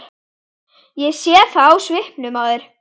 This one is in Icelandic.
Ég sé það á svipnum á þér.